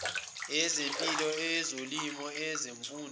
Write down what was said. eyezempilo eyezolimo eyezemfundo